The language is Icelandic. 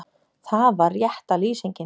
Það var rétta lýsingin.